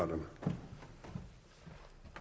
med